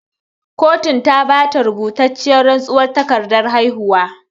Kotun ta bata rubutacciyar rantsuwar takardan haihuwa